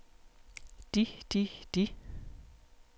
de de de